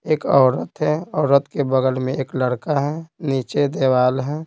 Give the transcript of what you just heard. एक औरत है औरत के बगल में एक लड़का है नीचे दिवार है।